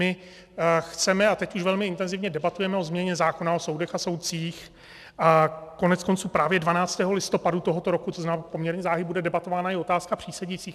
My chceme, a teď už velmi intenzivně debatujeme o změně zákona o soudech a soudcích a koneckonců právě 12. listopadu tohoto roku, to znamená poměrně záhy, bude debatována i otázka přísedících.